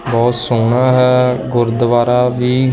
ਬਹੁਤ ਸੋਹਣਾ ਹੈ ਗੁਰਦੁਆਰਾ ਵੀ--